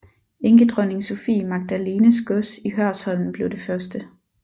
Enkedronning Sophie Magdalenes gods i Hørsholm blev det første